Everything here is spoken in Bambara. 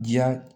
Diya